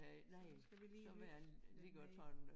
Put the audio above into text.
Sådan skal vi lige ikke være med